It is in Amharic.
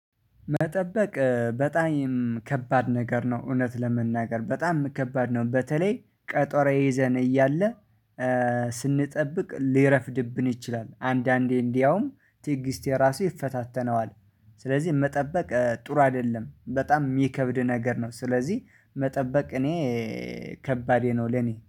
መጠበቅ በጣይም ከባድ ነገር ነው እውነት ለመናገር በጣም ከባድ ነው። በተለይ ቀጠሮ ይዘን እያለ ስንጠብቅ ሊረፍድብን ይችላል። አንዳንዴ እንዲያውም ትግስቴ ራሱ ይፈታተነዋል። ስለዚህ መጠበቅ ጥሩ አደለም በጣም የሚከብድ ነገር ነው። ስለዚህ መጠበቅ እኔ ከባዴ ነው ለኔ